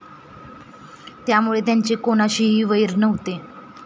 त्यामुळे त्यांचे कोणाशीही वैर नव्हते.